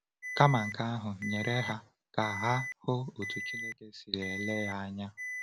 Kama nke ahụ, nyere ha ka ha hụ otu Chineke si ele ya anya.